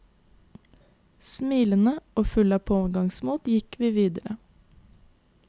Smilende og fulle av pågangsmot går vi videre.